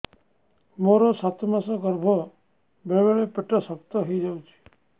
ମୋର ସାତ ମାସ ଗର୍ଭ ବେଳେ ବେଳେ ପେଟ ଶକ୍ତ ହେଇଯାଉଛି